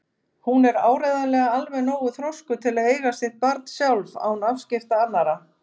Hún er áreiðanlega alveg nógu þroskuð til að eiga sitt barn sjálf án afskipta annarra.